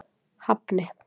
Hafni